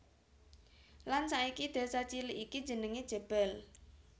Lan saiki desa cilik iki jenengé Jebel